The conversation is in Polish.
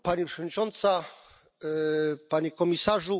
Pani Przewodnicząca! Panie Komisarzu!